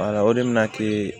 o de bɛna kɛ